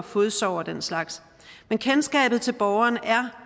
fodsår og den slags og kendskabet til borgeren er